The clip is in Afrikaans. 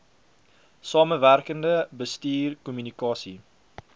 samewerkende bestuur kommunikasie